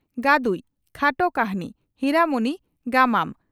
"ᱜᱟᱹᱫᱩᱡ" (ᱠᱷᱟᱴᱚ ᱠᱟᱹᱦᱱᱤ) ᱦᱤᱨᱟᱹ ᱢᱩᱱᱤ (ᱜᱟᱢᱟᱢ)